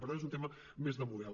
per tant és un tema més de model